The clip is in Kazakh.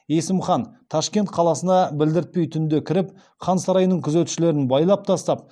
есім хан ташкент қаласына білдіртпей түнде кіріп хан сарайының күзетшілерін байлап тастап